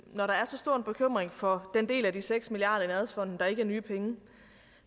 når der er så stor en bekymring for den del af de seks milliard kroner i nærhedsfonden der ikke er nye penge